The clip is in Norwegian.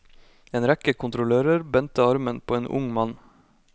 En rekke kontrollører bendte armen på en ung mann.